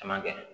Caman kɛ